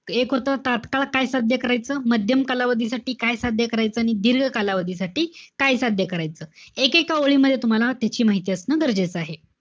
एक होतं, तात्काळ काय साध्य करायचं? माध्यम कालावधीसाठी काय साध्य करायचं आणि दीर्घकालावधीसाठी काय साध्य करायचं. एकेका ओळींमध्ये तुम्हाला त्याची माहिती असणं गरजेचं आहे.